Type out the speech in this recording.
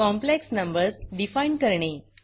complex numbers define करणे